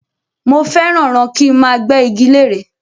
Mo fẹ́ràn ràn kí máa gbé igi lére